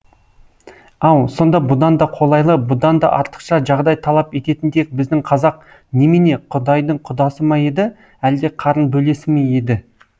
ау сонда бұдан да қолайлы бұдан да артықша жағдай талап ететіндей біздің қазақ немене құдайдың құдасы ма еді әлде қарын бөлесі ме еді